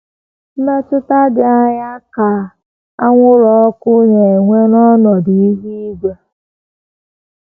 Mmetụta dị aṅaa ka anwụrụ ọkụ na - enwe n’ọnọdụ ihu igwe?